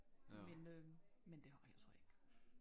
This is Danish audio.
Men øh men det har jeg så ikke